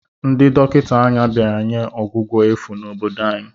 Ndị dọkịta anya bịara nye ọgwụgwọ efu n'obodo anyị.